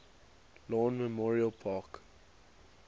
lawn memorial park